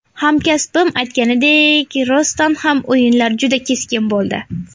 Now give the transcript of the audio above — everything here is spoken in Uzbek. Hamkasbim aytganidek, rostdan ham o‘yinlar juda keskin bo‘ldi.